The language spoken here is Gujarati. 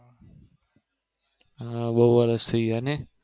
હા બહુ વર્ષ થયી ગયા નહિ